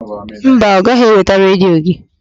Mba, ọ gaghị eweta redio gị.